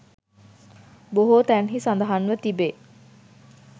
බොහෝ තැන්හි සඳහන්ව තිබේ.